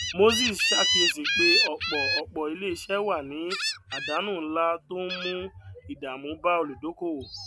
moses ṣàkíyèsí pé ọpọ ọpọ ilé iṣẹ wà ní àdánù ńlá tó ń mú ìdààmú bá olùdókòwò